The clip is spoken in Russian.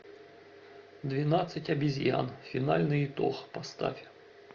двенадцать обезьян финальный итог поставь